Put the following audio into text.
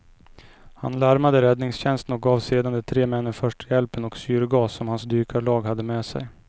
Han larmade räddningstjänsten och gav sedan de tre männen första hjälpen och syrgas som hans dykarlag hade med sig.